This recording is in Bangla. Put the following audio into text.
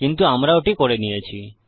কিন্তু আমরা ওটি করে নিয়েছি